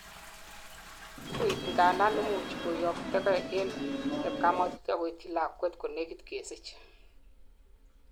wuui angandan imuchi koyoktokei en chepkamatut agoityi lagwet konegit kesich